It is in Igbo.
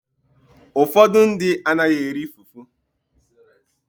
Ụfọdụ ndị anaghị eri fufu.